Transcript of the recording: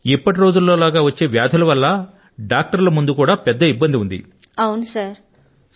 ఒక్కొక్క సారి తెలియదు ఇవాళ రేపు ఎటువంటి వ్యాధులు వస్తున్నాయి అంటే డాక్టర్ల ముందు కూడా చాలా పెద్ద సంకటం వచ్చి నిల్చుంటుంది